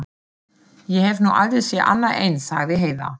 Ég hef nú aldrei séð annað eins, sagði Heiða.